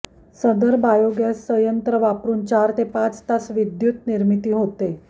सदर बायोगॅस सयंत्र वापरून चार ते पाच तास विद्युतनिर्मिती होते